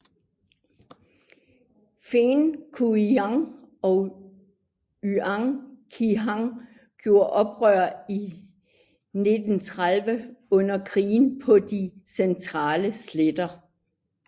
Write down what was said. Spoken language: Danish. Feng Yuxiang og Yan Xishan gjorde oprør i 1930 under krigen på de centrale sletter